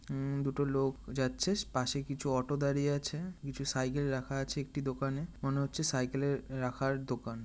উমম দুটো লোক যাচ্ছিস পাশে কিছু অটো দাঁড়িয়ে আছে। কিছু সাইকেল রাখা আছে একটি দোকানে। মনে হচ্ছে সাইকেলের রাখার দোকান।